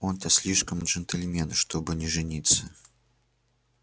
он-то слишком джентльмен чтобы не жениться